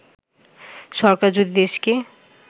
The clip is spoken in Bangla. “সরকার যদি দেশকে